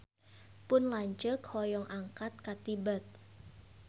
Pun lanceuk hoyong angkat ka Tibet